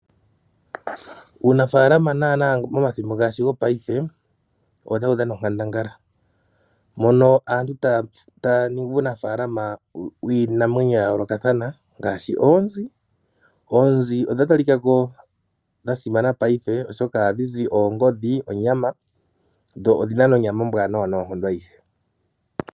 Uunafaalama naanaa momathimbo gongashingeyi owo tawu dhana onkandangala mono aantu taya ningi uunafaalama wiinamwenyo ya yoolokathana ngaashi oonzi. Oonzi odha talika ko dha simana ngashingeyi oshoka ohadhi zi olufufu halu ningwa oongodhi nonyama dho odhina onyama ombwanawa noonkondo adhihe.